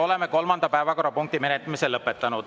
Oleme kolmanda päevakorrapunkti menetlemise lõpetanud.